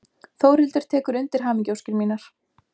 Þórhildur tekur undir hamingjuóskir mínar.